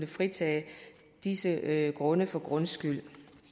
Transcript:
fritage disse grunde for grundskyld